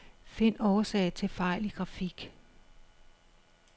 Find årsag til fejl i grafik.